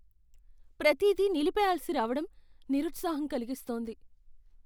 ప్రతిదీ నిలిపెయ్యాల్సి రావడం నిరుత్సాహం కలిగిస్తోంది.